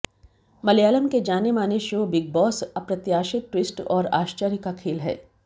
मलयालम के जाने माने शो बिग बॉस अप्रत्याशित ट्विस्ट और आश्चर्य का खेल है